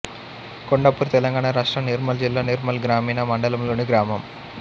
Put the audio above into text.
కొండాపూర్ తెలంగాణ రాష్ట్రం నిర్మల్ జిల్లా నిర్మల్ గ్రామీణ మండలంలోని గ్రామం